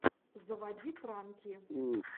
заводи пранки